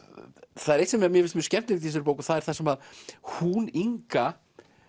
það er eitt sem mér finnst mjög skemmtilegt í þessari bók og það er það sem hún Inga